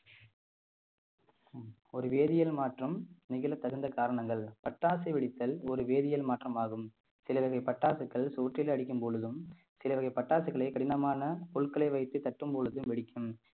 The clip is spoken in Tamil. ஒரு வேதியல் மாற்றம் நெகிழத் தகுந்த காரணங்கள் பட்டாசு வெடித்தல் ஒரு வேதியியல் மாற்றமாகும் சில வகை பட்டாசுகள் சுவற்றில் அடிக்கும் பொழுதும் சில வகை பட்டாசுகளை கடினமான பொருட்களை வைத்து தட்டும் பொழுது வெடிக்கும்